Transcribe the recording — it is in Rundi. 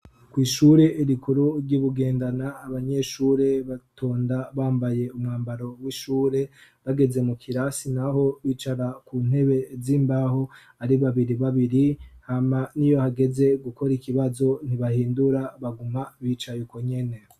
Icumba c' isomero kirimw' abanyeshure bicaye ku ntebe zikozwe mu mbaho z' ibiti bambay' umwambar' ubaranga w' ishure, kumpande hasiz' irangi ryera, umunyeshur' umw' umwe wese yicay' arab' imbere yiwe yunamy' arikwandika haboneka ko barigukor' ikibazo, imbere yabo habonek' umuryango wuguruye n' igice c' idirisha kiboneka hejuru yabo.